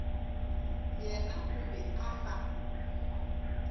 yena o be a sa